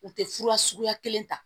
U tɛ fura suguya kelen ta